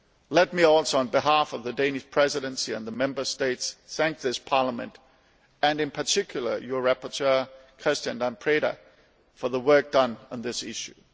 Let me also, on behalf of the Danish Presidency and the Member States, thank this Parliament and in particular your rapporteur, Mr Preda, for the work done on this issue.